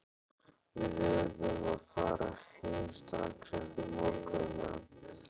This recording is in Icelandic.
Við urðum að fara heim strax eftir morgunmat.